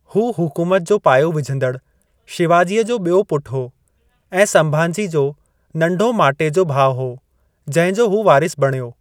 हू हुकूमत जो पायो विझंदड़ु शिवाजीअ जो ॿियों पुटु हो, ऐं संभाजी जो नंढो माटे जो भाउ हो, जंहिंजो हू वारिसु बणियो।